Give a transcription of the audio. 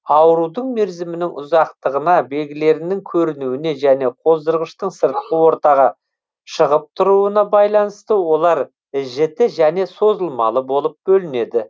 аурудың мерзімінің ұзақтығына белгілерінің көрінуіне және қоздырғыштың сыртқы ортаға шығып тұруына байланысты олар жіті және созылмалы болып бөлінеді